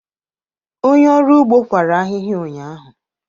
Onye ọrụ ugbo kwara ahịhịa ụnyahụ